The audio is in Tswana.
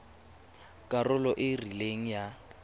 karolo e e rileng ya